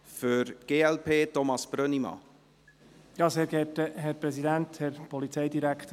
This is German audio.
Vorhin habe ich nichts gesagt, deshalb bin ich auch etwas selber schuld.